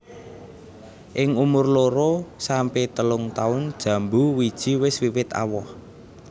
Ing umur loro sampe telung taun jambu wiji wis wiwit awoh